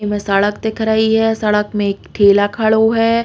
इमें सड़क दिख रही है। सड़क में एक ठेला खड़ो है।